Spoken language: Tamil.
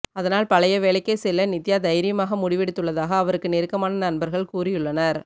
அதனால் பழைய வேலைக்கே செல்ல நித்யா தைரியமாக முடிவெடுத்துள்ளதாக அவருக்கு நெருக்கமான நண்பர்கள் கூறியுள்ளனர்